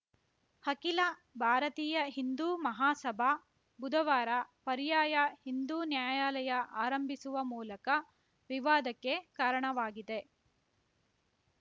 ಹಖಿಲ ಭಾರತೀಯ ಹಿಂದೂ ಮಹಾಸಭಾ ಬುಧವಾರ ಪರ್ಯಾಯ ಹಿಂದೂ ನ್ಯಾಯಾಲಯ ಆರಂಭಿಸುವ ಮೂಲಕ ವಿವಾದಕ್ಕೆ ಕಾರಣವಾಗಿದೆ